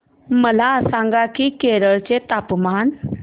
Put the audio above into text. मला सांगा की केरळ चे तापमान